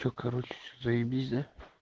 что короче все заебись да